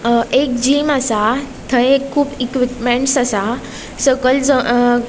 हा एक जिम आसा थंय कुब एक्वीपमेन्ट्स आसा सकयल ज --